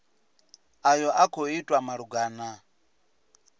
ayo a khou itwa malugana